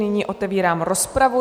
Nyní otevírám rozpravu.